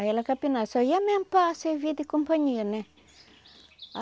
Aí ela capinava, só ia mesmo para servir de companhia, né?